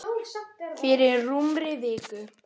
Fyrir rúmri viku.